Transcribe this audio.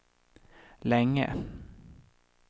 länge